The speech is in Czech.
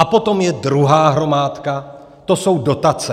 A potom je druhá hromádka, to jsou dotace.